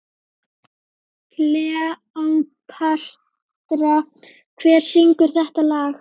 Kleópatra, hver syngur þetta lag?